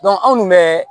anw kun bɛ